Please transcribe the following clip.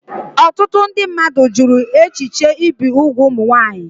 Ọtụtụ ndị mmadụ jụrụ echiche ibi úgwù ụmụ nwanyị